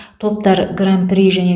топтар гран при және